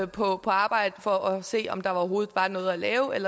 på på arbejde for at se om der overhovedet var noget at lave